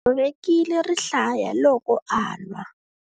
U tshovekile rihlaya loko a lwa.